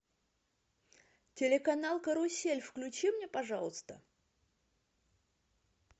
телеканал карусель включи мне пожалуйста